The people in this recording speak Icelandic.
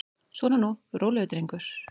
Svona nú, rólegur drengur.